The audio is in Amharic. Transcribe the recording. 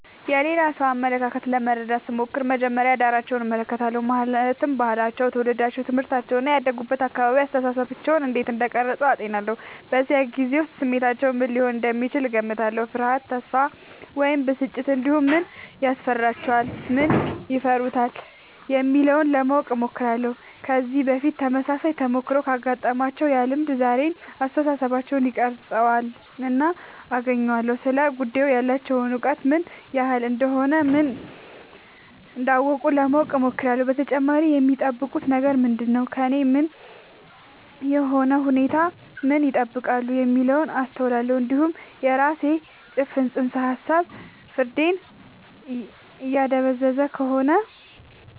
የሌላ ሰው አመለካከት ለመረዳት ስሞክር መጀመሪያ ዳራቸውን እመለከታለሁ ማለትም ባህላቸው ትውልዳቸው ትምህርታቸው እና ያደጉበት አካባቢ አስተሳሰባቸውን እንዴት እንደቀረጸ አጤናለሁ በዚያ ጊዜ ውስጥ ስሜታቸው ምን ሊሆን እንደሚችል እገምታለሁ ፍርሃት ተስፋ ወይም ብስጭት እንዲሁም ምን ያስፈልጋቸዋል ምን ይፈሩታል የሚለውን ለማወቅ እሞክራለሁ ከዚህ በፊት ተመሳሳይ ተሞክሮ ካጋጠማቸው ያ ልምድ ዛሬውን አስተሳሰባቸውን ይቀርፃልና አገናኘዋለሁ ስለ ጉዳዩ ያላቸው እውቀት ምን ያህል እንደሆነ እና ምን እንዳላወቁ ለማወቅ እሞክራለሁ በተጨማሪም የሚጠብቁት ነገር ምንድነው ከእኔም ሆነ ከሁኔታው ምን ይጠብቃሉ የሚለውን አስተውላለሁ እንዲሁም የራሴ ጭፍን ጽንሰ ሀሳብ ፍርዴን እያደበዘዘ ከሆነ